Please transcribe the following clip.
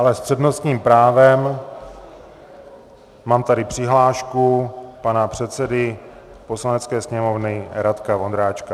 Ale s přednostním právem mám tady přihlášku pana předsedy Poslanecké sněmovny Radka Vondráčka.